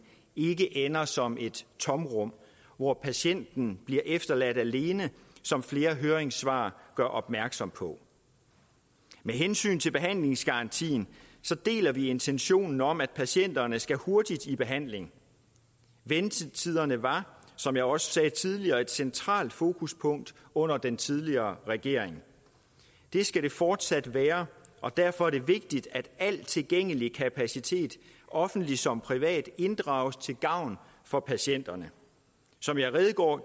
ikke ender som et tomrum hvor patienten bliver efterladt alene som flere høringssvar gør opmærksom på med hensyn til behandlingsgarantien deler vi intentionen om at patienterne skal hurtigt i behandling ventetiderne var som jeg også sagde tidligere et centralt fokuspunkt under den tidligere regering det skal det fortsat være og derfor er det vigtigt at al tilgængelig kapacitet offentlig som privat inddrages til gavn for patienterne som jeg redegjorde